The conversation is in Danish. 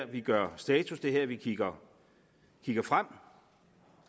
vi gør status det er her vi kigger frem